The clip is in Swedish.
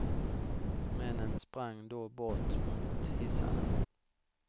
Männen sprang då bort mot hissarna.